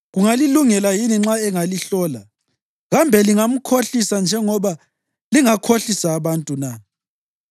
Kungalilungela yini nxa engalihlola? Kambe lingamkhohlisa njengoba lingakhohlisa abantu na?